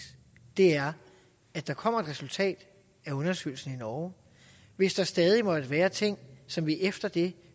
er at der kommer et resultat af undersøgelsen i norge hvis der stadig måtte være ting som vi efter det